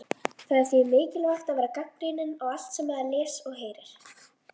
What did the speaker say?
Það er því mikilvægt að vera gagnrýninn á allt sem maður les og heyrir.